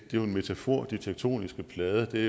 jo en metafor de tektoniske plader er